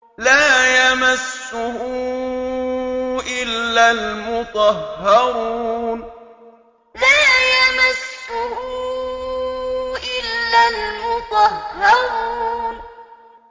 لَّا يَمَسُّهُ إِلَّا الْمُطَهَّرُونَ لَّا يَمَسُّهُ إِلَّا الْمُطَهَّرُونَ